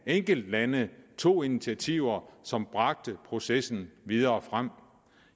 enkeltlande tog initiativer som bragte processen videre frem